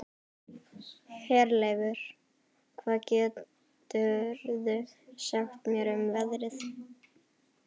Herleifur, hvað geturðu sagt mér um veðrið?